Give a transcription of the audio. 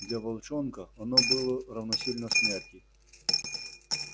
для волчонка оно было равносильно смерти